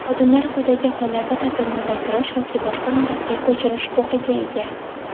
Xodimlar quyidagi hollarda ta’tilni uzaytirish yoki boshqa muddatga ko‘chirish huquqiga ega:.